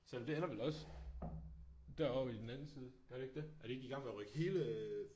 Selvom det er der vel også derovre i den anden side gør det ikke det er de ikke i gang med at rykke hele